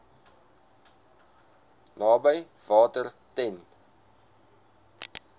naby water ten